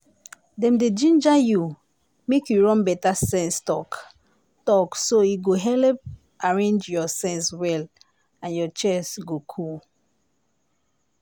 dem dey ginger you make you run better sense talk-talk so e go helep arrange your sense well and your chest go cool.